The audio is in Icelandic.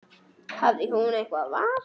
Hafði hún eitthvert val?